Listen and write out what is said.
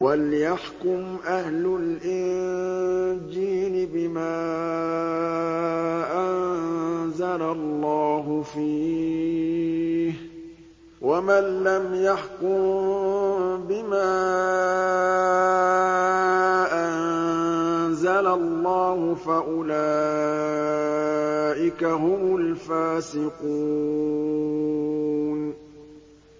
وَلْيَحْكُمْ أَهْلُ الْإِنجِيلِ بِمَا أَنزَلَ اللَّهُ فِيهِ ۚ وَمَن لَّمْ يَحْكُم بِمَا أَنزَلَ اللَّهُ فَأُولَٰئِكَ هُمُ الْفَاسِقُونَ